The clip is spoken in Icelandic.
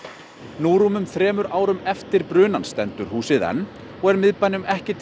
nú rúmum þremur árum eftir brunann stendur húsið enn og er miðbænum ekki til